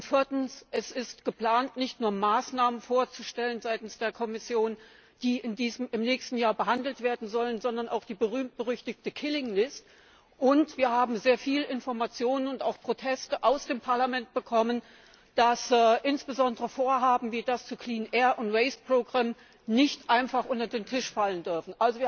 Viertens Es ist geplant, nicht nur Maßnahmen vorzustellen seitens der Kommission, die im nächsten Jahr behandelt werden sollen, sondern auch die berühmt berüchtigte killing list und wir haben sehr viel Informationen und auch Proteste aus dem Parlament bekommen, dass insbesondere Vorhaben wie das zur sauberen Luft und das Abfallprogramm nicht einfach unter den Tisch fallen dürfen.